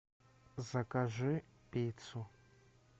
закажи пиццу